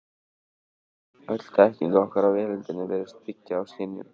Öll þekking okkar á veröldinni virðist byggja á skynjun.